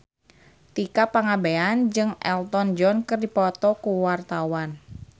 Tika Pangabean jeung Elton John keur dipoto ku wartawan